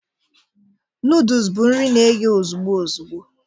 Noodus bụ nri na-eghe ozugbo ozugbo